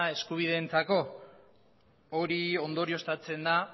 eskubideentzako hori ondorioztatzen da